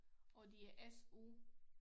Og det er SU